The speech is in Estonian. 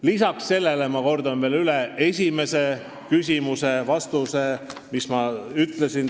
Lisaks kordan veel üle, mis ma teile esimese küsimuse vastuses juba ütlesin.